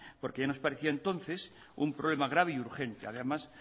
porque ya nos parecía entonces un problema grave y urgente además